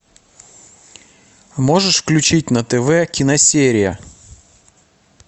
можешь включить на тв киносерия